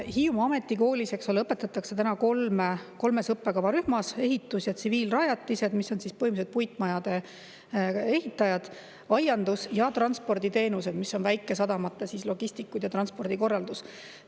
Hiiumaa Ametikoolis õpetatakse kolmes õppekavarühmas: ehitus‑ ja tsiviilrajatised, kus põhimõtteliselt puitmajade ehitajad; aiandus; ja transporditeenused, kus on väikesadamate logistikud ja transpordikorraldus.